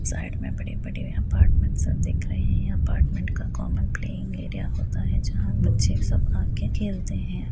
Side में बड़े-बड़े apartment सब दिख रहे हैं। अपार्टमेंट का कॉमन प्लेइंग एरिया होता है जहां बच्चे सब आकर खेलते हैं।